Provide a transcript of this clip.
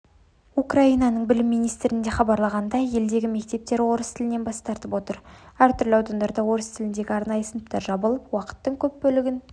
украинаның білім министрлігінде хабарланғандай елдегі мектептер орыс тілінен бас тартып отыр әртүрлі аудандарында орыс тіліндегі арнайы сыныптар жабылып уақыттың көп бөлігін